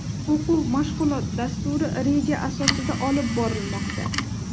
O‘quv-mashg‘ulot dasturi reja asosida olib borilmoqda.